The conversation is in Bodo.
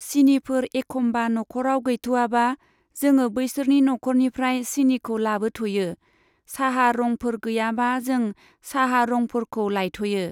सिनिफोर एखम्बा नखराव गैथ'वाबा, जोङो बैसोरनि नखरनिफ्राय सिनिखौ लाबोथ'यो। साहा रंफोर गैयाबा जों साहा रंफोरखौ लायथ'यो।